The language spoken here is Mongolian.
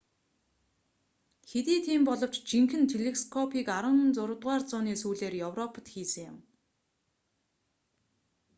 хэдий тийм боловч жинхэнэ телескопыг 16-р зууны сүүлээр европод хийсэн юм